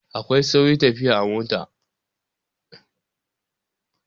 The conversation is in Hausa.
Akwai sauri tafiya a mota.